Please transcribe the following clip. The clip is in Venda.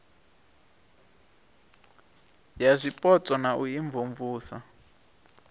ya zwipotso na u imvumvusa